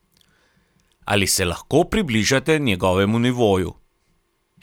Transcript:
Ali se lahko približate njegovemu nivoju?